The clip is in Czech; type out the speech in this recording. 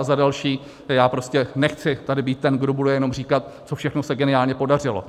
A za další, já prostě nechci tady být ten, kdo bude jenom říkat, co všechno se geniálně podařilo.